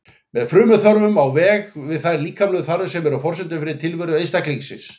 Með frumþörfum á ég við þær líkamlegu þarfir sem eru forsendur fyrir tilveru einstaklingsins.